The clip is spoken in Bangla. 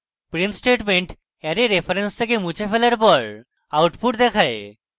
print statement অ্যারে reference থেকে মুছে ফেলার পর output দেখায়